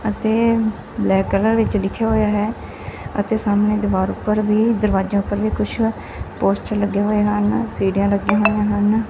ਅਤੇ black colour ਵਿੱਚ ਲਿਖਿਆ ਹੋਇਆ ਹੈ ਅਤੇ ਸਾਹਮਣੇ ਦੀਵਾਰ ਉਪਰ ਵੀ ਦਰਵਾਜਿਆਂ ਉਪਰ ਵੀ ਕੁਛ ਪੋਸਟਰ ਲੱਗੇ ਹੋਏ ਹਨ ਸੀੜੀਆਂ ਲੱਗੀਆਂ ਹੋਈਆਂ ਹਨ।